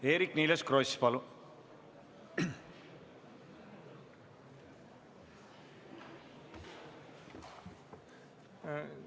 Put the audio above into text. Eerik-Niiles Kross, palun!